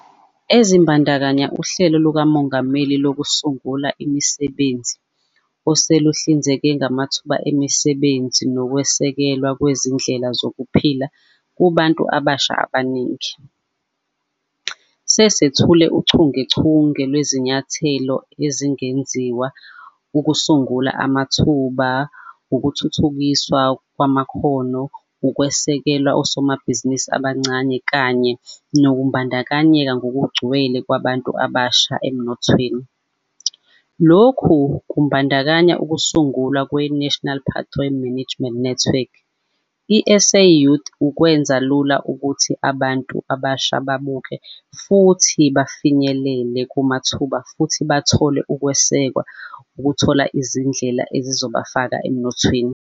Ezibandakanya uHlelo lukaMongameli Lokusungula Imisebenzi, oseluhlinzeke ngamathuba emisebenzi nokwesekelwa kwezindlela zokuphila kubantu abasha abaningi. Sesethule uchungechunge lwezinyathelo ezengeziwe ukusungula amathuba, ukuthuthukiswa kwamakhono, ukwesekela osomabhizinisi abancane kanye nokubandakanyeka ngokugcwele kwabantu abasha emnothweni. Lokhu kubandakanya ukusungulwa kwe-National Pathway Management Network, i-SA Youth, ukwenza lula ukuthi abantu abasha babuke futhi bafinyelele kumathuba futhi bathole ukwesekwa ukuthola izindlela ezizobafaka emnothweni.